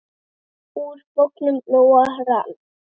Úr bognum lófa rann.